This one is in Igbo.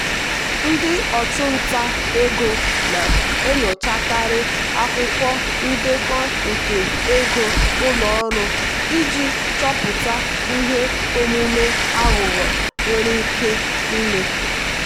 ndị ọchụnta ego na-enyochakarị akwụkwọ ndekọ nke ego ụlọ ọrụ iji chọpụta ihe omume aghụghọ nwere ike ime.